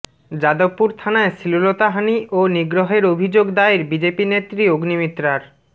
যাদবপুর থানায় শ্লীলতাহানি ও নিগ্রহের অভিযোগ দায়ের বিজেপি নেত্রী অগ্নিমিত্রার